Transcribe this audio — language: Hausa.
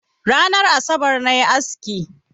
Ranar asabar na yi aski.